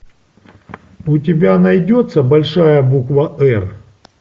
у тебя найдется большая буква р